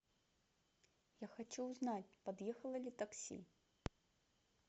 я хочу узнать подъехало ли такси